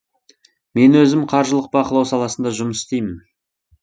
мен өзім қаржылық бақылау саласында жұмыс істеймін